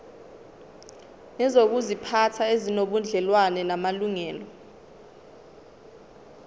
nezokuziphatha ezinobudlelwano namalungelo